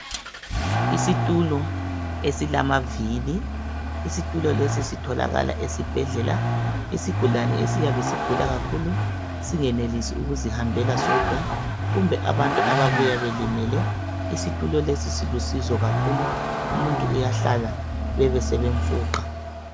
Isitulo esilamavili. Sitholakala esibhedlela. Isigulane esiyabe sigula kakhulu singenelisi ukuzihambela sodwa, kumbe abantu ababuya belimele. Silusizo kakhulu. Umuntu uyahlala, bebesebemfuqa.